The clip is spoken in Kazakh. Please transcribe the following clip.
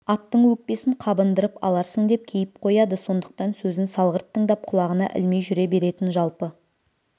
аттың өкпесін қабындырып аларсың деп кейіп қояды сондықтан сөзін салғырт тыңдап құлағына ілмей жүре беретін жалпы